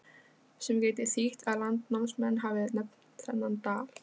Sem gæti þýtt að landnámsmenn hafi nefnt þennan dal.